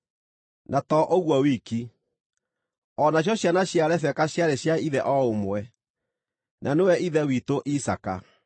Na to ũguo wiki, o nacio ciana cia Rebeka ciarĩ cia ithe o ũmwe, na nĩwe ithe witũ Isaaka.